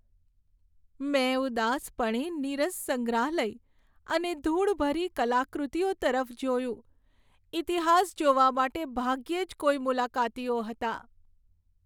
મેં ઉદાસપણે નીરસ સંગ્રહાલય અને ધૂળભરી કલાકૃતિઓ તરફ જોયું. ઈતિહાસ જોવા માટે ભાગ્યે જ કોઈ મુલાકાતીઓ હતા.